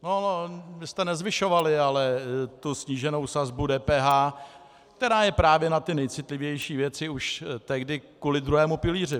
Vy jste nezvyšovali ale tu sníženou sazbu DPH, která je právě na ty nejcitlivější věci, už tehdy kvůli druhému pilíři.